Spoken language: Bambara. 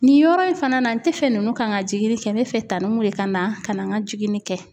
Nin yɔrɔ in fana na, n tɛ fɛ ninnu kan n ka jiginni kɛ , n bɛ fɛ tanu Umu de ka na ka na n ka jigini kɛ.